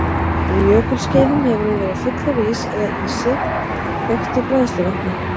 Á jökulskeiðum hefur hún verið full af ís eða ísi þöktu bræðsluvatni.